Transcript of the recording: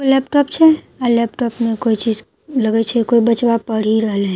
laptop छे आ laptop में कोई चीज लगए छे कोई बचवा पढ़ि रहले ब --